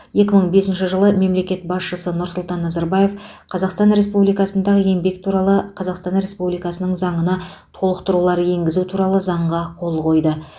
екі мың бесінші жылы мемлекет басшысы нұрсұлтан назарбаев қазақстан республикасындағы еңбек туралы қазақстан республикасының заңына толықтырулар енгізу туралы заңға қол қойды